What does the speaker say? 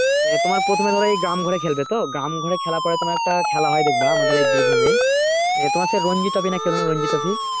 নিয়ে তোমার প্রথমে ধরো এই গ্রাম ঘুরে খেলবে তো গ্রাম ঘুরে খেলার পর পরে একটা খেলা হয় দেখবা আমাদের এই বীরভূম এ তোমার সেই ranji trophy চেনো না ranji trophy